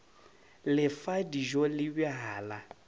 le fa dijo le bjala